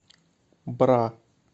бра